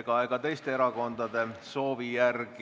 ega teiste erakondade soovil.